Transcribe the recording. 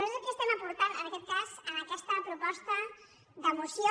nosaltres el que estem aportant en aquest cas en aquesta proposta de moció